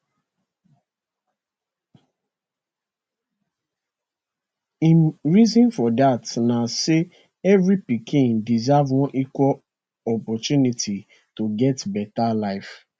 im reason for dat na say every pikin deserve one equal opportunity to get beta life